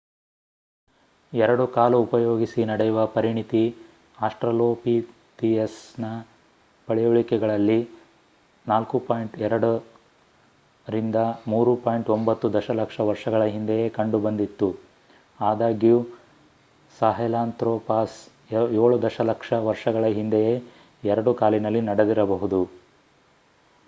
ಎರಡು ಕಾಲು ಉಪಯೋಗಿಸಿ ನಡೆಯುವ ಪರಿಣಿತಿ ಅಸ್ಟ್ರಲೋಪಿಥಿಯಸ್ ನ ಪಳೆಯುಳಿಕೆಗಳಲ್ಲಿ 4.2-3.9 ದಶ ಲಕ್ಷ ವರ್ಷಗಳ ಹಿಂದೆಯೇ ಕಂಡು ಬಂದಿತ್ತು ಆದಾಗ್ಯೂ ಸಾಹೆಲಾಂತ್ರೊಪಾಸ್ 7 ದಶ ಲಕ್ಷ ವರ್ಷಗಳ ಹಿಂದೆಯೇ ಎರಡು ಕಾಲಿನಲ್ಲಿ ನಡೆದಿರಬಹುದು